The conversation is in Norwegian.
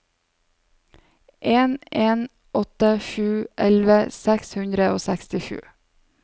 en en åtte sju elleve seks hundre og sekstisju